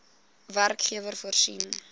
werkgewer voorsien